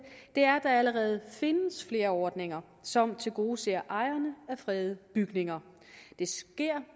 er at der allerede findes flere ordninger som tilgodeser ejerne af fredede bygninger det sker